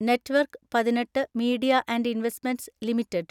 network പതിനെട്ട് Media and Investment limited